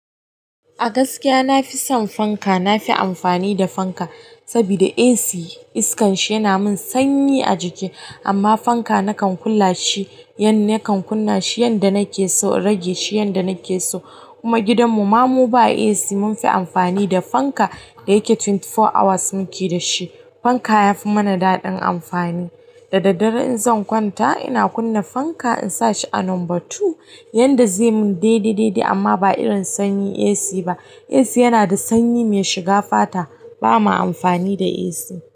A gaskiya na fi son fanka na fi amfani da fanka saboda AC iskan shi yana min sanyi a jiki, amma fanka na kan ƙulla shi, yan akan kunna shi yanda nake so, rage shi yanda nake so. Kuma gidan mu ma mu ba AC mun fi amfani da fanka da yake twenty four hours muke da shi. Fanka fi mana daɗin amfani. Da daddare in zan kwanta ina kunna fanka in sa shi a number two yanda zai mun daidi daidi amma ba irin sanyi AC ba. AC yana da sanyi mai shiga fata. Ba ma amfani da AC.